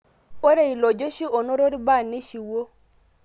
Ore ilojeshi onoto irbaa neishiwuo